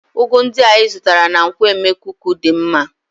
Ugu ndị a ịzụtara na nkwo emekuku dị mma